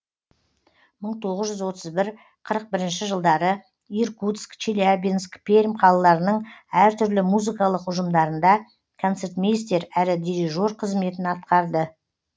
мың тоғыз жүз отыз бір қырық бірінші жылдары иркутск челябинск пермь қалаларының әр түрлі музыкалық ұжымдарында концертмейстер әрі дирижер қызметін атқарды